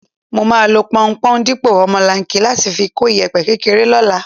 Mo máa lo pọunpọ̀n dípò omolanke láti fi kó ìyẹ̀pẹ̀ kékeré lọ́la.